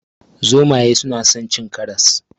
Zomaye suna son cin karas.